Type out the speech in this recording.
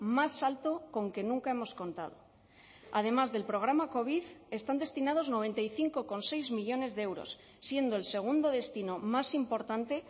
más alto con que nunca hemos contado además del programa covid están destinados noventa y cinco coma seis millónes de euros siendo el segundo destino más importante